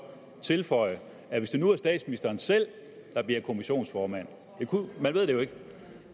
tilføje at hvis det nu er statsministeren selv der bliver kommissionsformand man ved det jo ikke